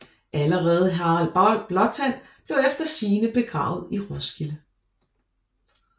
Allerede Harald Blåtand blev efter sigende begravet i Roskilde